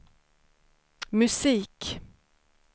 musik